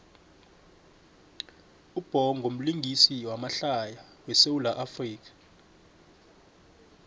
ubhongo mlingisi wamahlaya we sawula afrika